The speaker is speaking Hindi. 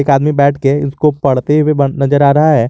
एक आदमी बैठ के इसको पढ़ते हुए नजर आ रहा है।